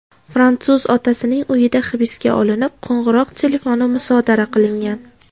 Fransuz otasining uyida hibsga olinib, qo‘ng‘iroq telefoni musodara qilingan.